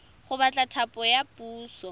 go batla thapo ya puso